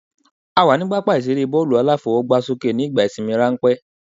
A wà ní pápá ìseré bọ́ọ̀lù-aláfọwọ́gbásókè nígbà ìsinmi ránpẹ́